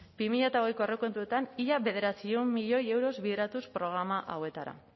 bi mila hogei aurrekontuetan ia bederatziehun milioi euro bideratuz programa hauetara